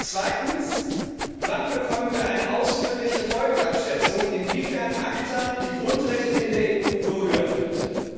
Zweitens Wann bekommen wir eine ausführliche Folgenabschätzung, inwiefern ACTA die Grundrechte in der EU berühren könnte?